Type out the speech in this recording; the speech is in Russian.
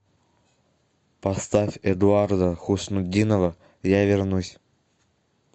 поставь эдуарда хуснутдинова я вернусь